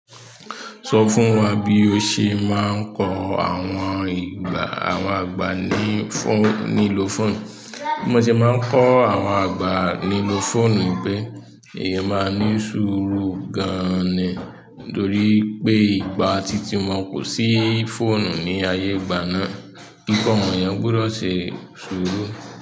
Sọ fún wa bí o ṣe máa ń kọ àwọn agbà ní liló fóònù. Bí mo ṣe máa ń kọ́ àwọn àgbà ní ló fóònù nipé, eeyan máa ní sùúrù gan ni nítorí pé ìgbà titi wọ́n kò sí fóònù ní ayé ìgbà náà. Kíkọ́ wọn èèyàn gbudọ̀ ṣe sùúrù.